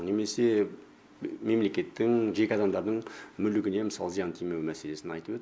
немесе мемлекеттің жеке адамдардың мүлігіне мысалы зиян тимеу мәселесін айтып өт